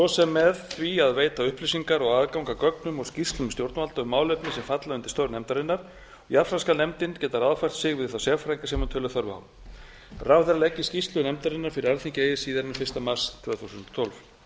sem með því að veita upplýsingar og aðgang að gögnum og skýrslum stjórnvalda um málefni sem falla undir störf nefndarinnar jafnframt skal nefndin geta ráðfært sig við þá sérfræðinga sem hún telur þörf á ráðherra leggi skýrslu nefndarinnar fyrir alþingi eigi síðar en fyrsta mars tvö þúsund og tólf